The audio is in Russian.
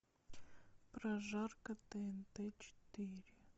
прожарка тнт четыре